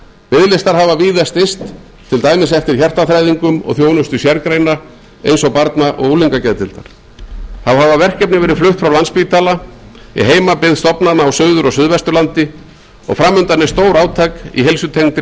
biðlistar hafa víða styst til dæmis eftir hjartaþræðingum og þjónustu sérgreina eins og barna og unglingageðdeildar þá hafa verkefni verið flutt frá landspítala í heimabyggð stofnana á suður og suðvesturlandi og fram undan er stórátak í heilsutengdri